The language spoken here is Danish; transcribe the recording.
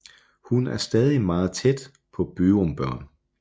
Hun er stadig meget tæt på Byrum børn